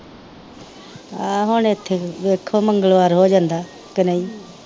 ਆਹੋ ਹੁਣ ਇੱਥੇ ਵੀ ਵੇਖੋ ਮੰਗਲਵਾਰ ਹੋ ਜਾਂਦਾ ਕੇ ਨਹੀਂ।